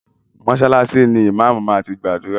Mọ́ṣálásí ni ìmáámù máa ti gbàdúrà.